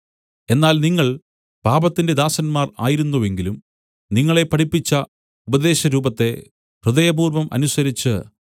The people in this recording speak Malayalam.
എന്നാൽ നിങ്ങൾ പാപത്തിന്റെ ദാസന്മാർ ആയിരുന്നുവെങ്കിലും നിങ്ങളെ പഠിപ്പിച്ച ഉപദേശരൂപത്തെ ഹൃദയപൂർവ്വം അനുസരിച്ച്